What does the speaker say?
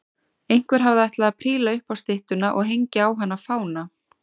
Einhver hafði ætlað að príla upp á styttuna og hengja á hana fána.